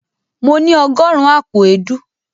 Mo ní ọgọ́rùn-ún àpò èédú.